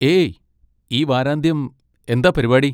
ഏയ്! ഈ വാരാന്ത്യം എന്താ പരിപാടി?